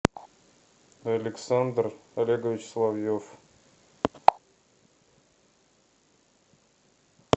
александр олегович соловьев